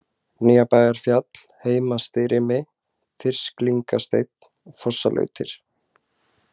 Nýjabæjarfjall, Heimastirimi, Þyrsklingasteinn, Fossalautir